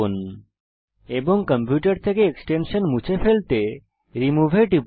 এবং আপনার কম্পিউটার থেকে এক্সটেনশান মুছে ফেলতে রিমুভ এ টিপুন